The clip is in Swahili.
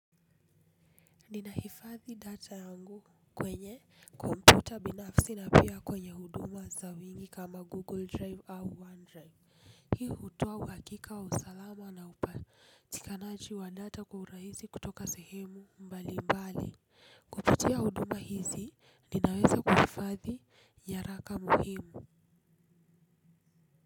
Ninahifadhi data yangu kwenye kompyuta binafsi na pia kwenye huduma za wingi kama google drive au one drive. Hii hutoa uhakika wa usalama na upatikanaji wa data kwa urahisi kutoka sehemu mbali mbali. Kupitia huduma hizi ninaweza kuhifadhi nyaraka muhimu.